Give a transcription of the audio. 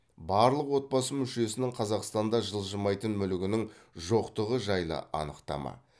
барлық отбасы мүшесінің қазақстанда жылжымайтын мүлігінің жоқтығы жайлы анықтама